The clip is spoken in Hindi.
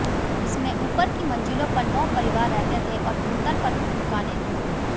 इसमें ऊपर की मंजिलों पर नौ परिवार रहते थे और भूतल पर कुछ दुकानें थीं